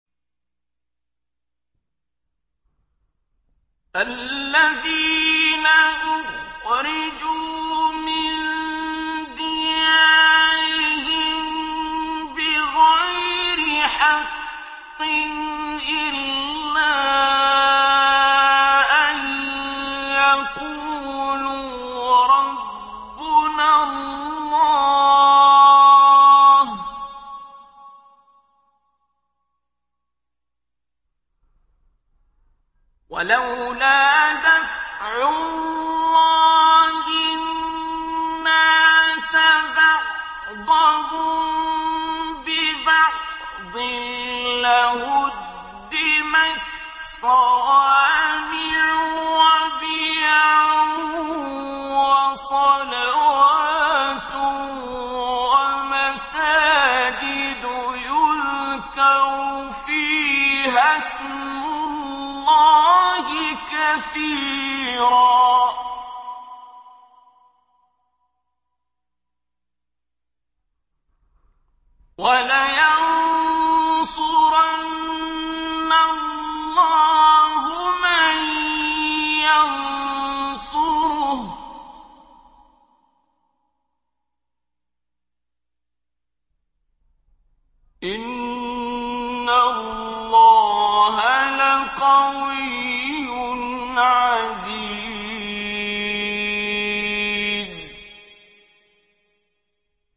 الَّذِينَ أُخْرِجُوا مِن دِيَارِهِم بِغَيْرِ حَقٍّ إِلَّا أَن يَقُولُوا رَبُّنَا اللَّهُ ۗ وَلَوْلَا دَفْعُ اللَّهِ النَّاسَ بَعْضَهُم بِبَعْضٍ لَّهُدِّمَتْ صَوَامِعُ وَبِيَعٌ وَصَلَوَاتٌ وَمَسَاجِدُ يُذْكَرُ فِيهَا اسْمُ اللَّهِ كَثِيرًا ۗ وَلَيَنصُرَنَّ اللَّهُ مَن يَنصُرُهُ ۗ إِنَّ اللَّهَ لَقَوِيٌّ عَزِيزٌ